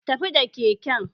Tafi da keken!